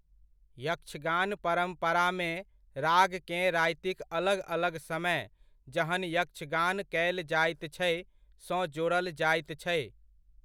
यक्षगान परम्परामे, रागकेँ रातिक अलग अलग समय, जहन यक्षगान कयल जाइत छै, सँ जोड़ल जाइत छै।